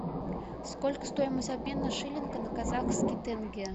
сколько стоимость обмена шиллинга на казахский тенге